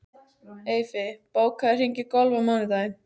Eyfi, bókaðu hring í golf á mánudaginn.